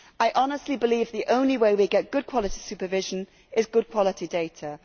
I honestly believe that the only way we get good quality supervision is good quality data.